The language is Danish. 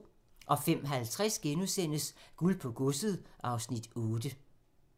05:50: Guld på godset (Afs. 8)*